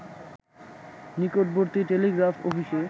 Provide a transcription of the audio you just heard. নিকটবর্তী টেলিগ্রাফ অফিসে